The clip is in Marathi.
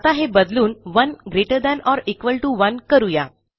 आता हे बदलून 1 greater than or equal to 1 करू या